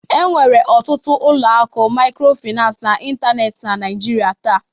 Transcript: Enwere ọtụtụ ụlọ akụ microfinance n'ịntanetị na Nigeria taa